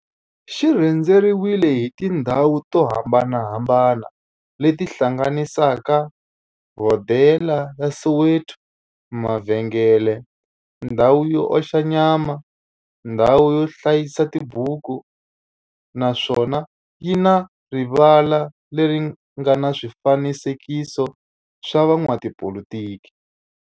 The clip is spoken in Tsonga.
xi rhendzeriwile hi tindhawu to hambanahambana le ti hlanganisaka, hodela ya Soweto, mavhengele, ndhawu yo oxa nyama, ndhawu yo hlayisa tibuku, naswona yi na rivala le ri nga na swifanekiso swa vo n'watipolitiki.